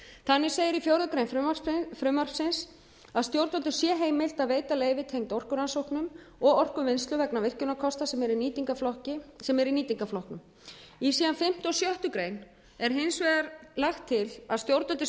þannig segir í fjórða grein frumvarpsins að stjórnvöldum sé heimilt að veita leyfi tengd orkurannsóknum og orkuvinnslu vegna virkjunarkosta sem eru í nýtingarflokk í síðan fimmta og sjöttu grein er hins vegar lagt til að stjórnvöldum sé